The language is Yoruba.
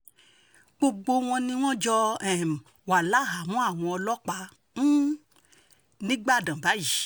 gbogbo wọn ni wọ́n jọ um wà láhàámọ̀ àwọn ọlọ́pàá um nígbàdàn báyìí